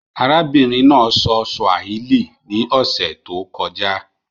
Àràbìnrin náà sọ Swàhílí ní òṣè tó kọ́jà.